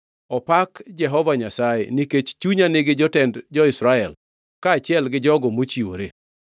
Opak Jehova Nyasaye nikech chunya nigi jotend jo-Israel, kaachiel gi jogo mochiwore!